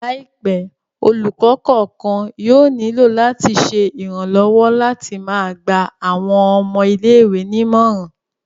Laipẹ, olukọ kọọkan yóò nilo lati ṣe iranlọwọ lati máa gba awọn ọmọ ìlé-ìwé ni imọran